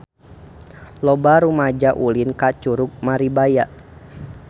Loba rumaja ulin ka Curug Maribaya